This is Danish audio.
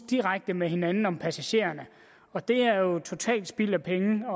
direkte med hinanden om passagererne og det er jo totalt spild af penge